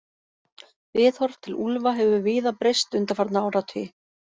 Viðhorf til úlfa hefur víða breyst undanfarna áratugi.